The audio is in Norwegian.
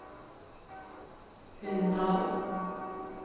Hunndalen